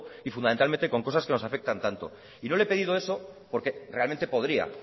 y fundamentalmente con cosas que nos afectan tanto y no le he pedido eso porque realmente podría